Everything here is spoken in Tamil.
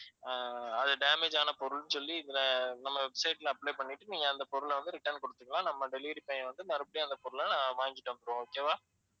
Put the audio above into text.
அஹ் அது damage ஆன பொருள்னு சொல்லி இதுல நம்ம website ல apply பண்ணிட்டு நீங்க அந்த பொருள வந்து return குடுத்துக்கலாம் நம்ம delivery பையன் வந்து மறுபடியும் அந்தப் பொருளை வாங்கிட்டு வந்திடுவான் okay வா